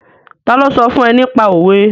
Ta ló sọ fún ẹ nípa òwe?